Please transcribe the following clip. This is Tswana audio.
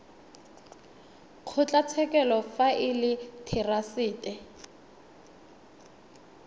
kgotlatshekelo fa e le therasete